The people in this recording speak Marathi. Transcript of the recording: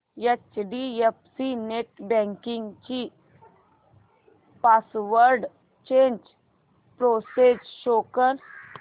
एचडीएफसी नेटबँकिंग ची पासवर्ड चेंज प्रोसेस शो कर